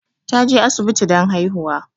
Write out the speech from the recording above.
Ta je asibiti don haihuwa